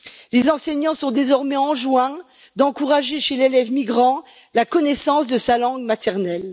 Les enseignants sont désormais enjoints d'encourager chez l'élève migrant la connaissance de sa langue maternelle.